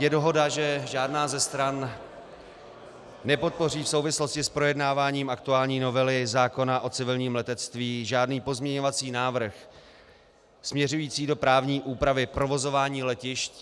Je dohoda, že žádná ze stran nepodpoří v souvislosti s projednáváním aktuální novely zákona o civilním letectví žádný pozměňovací návrh směřující do právní úpravy provozování letišť.